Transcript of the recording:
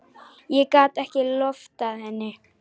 Ég gat ekki loftað henni.